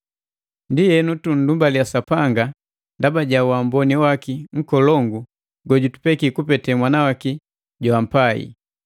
Ndienu, tundumbaliya Sapanga ndaba ja uamboni waki nkolongu gojutupeki kupete Mwana waki joampai!